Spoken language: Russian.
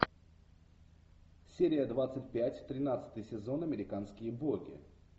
серия двадцать пять тринадцатый сезон американские боги